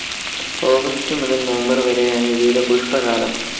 August മുതൽ November വരെയാണ് ഇവയുടെ പുഷ്പകാലം.